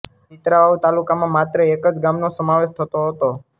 ચિત્રાવાવ તાલુકામાં માત્ર એક જ ગામનો સમાવેશ થતો હતો